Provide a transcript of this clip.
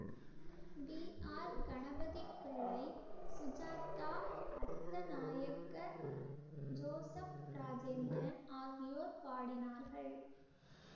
we R Ganapathipillai Sujatha Athanayake Joseph Rajendran ஆகியோர் பாடினார்கள்